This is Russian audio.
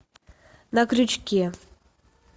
на крючке